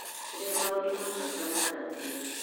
Rĩrĩa maũndũ ma bata maaragio